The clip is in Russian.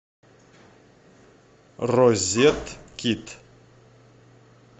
розет кит